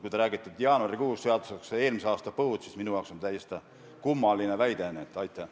Kui te räägite, et jaanuaris oleks tulnud seadustada eelmise aasta põua tõttu toetuste maksmine, siis minu jaoks on see täiesti kummaline väide.